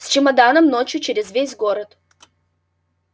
с чемоданом ночью через весь город